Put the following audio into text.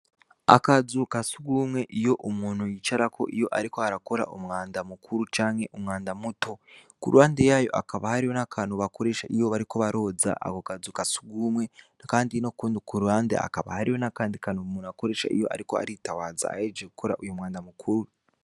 Akazuka sugumwe iyo umuntu yicarako iyo, ariko harakora umwanda mukuru canke umwanda muto ku ruande yayo akaba hariwo n'akantu bakoresha iyo bariko baroza ako kazuka asugumwe, kandi no kundi ku ruhande akaba hariwo n'akandi kana umuntu akoresha iyo, ariko aritawaza ahejeje gukora uyu mwanda mukuru.